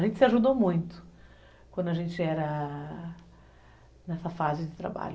A gente se ajudou muito quando a gente era... nessa fase de trabalho.